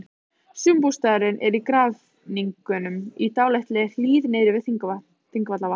Sumarbústaðurinn er í Grafningnum, í dálítilli hlíð niðri við Þingvallavatn.